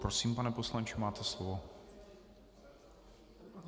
Prosím, pane poslanče, máte slovo.